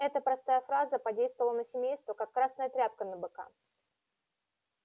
эта простая фраза подействовала на семейство как красная тряпка на быка